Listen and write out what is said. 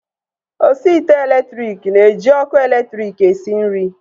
Osi ite elektriki na-eji ọkụ elektriki esi nri